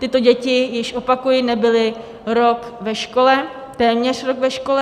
Tyto děti již, opakuji, nebyly rok ve škole, téměř rok ve škole.